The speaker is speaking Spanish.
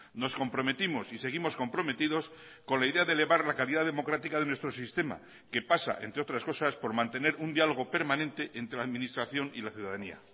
nos comprometimos y seguimos comprometidos con la idea de elevar la calidad democrática de nuestro sistema que pasa entre otras cosas por mantener un diálogo permanente entre la administración y la ciudadanía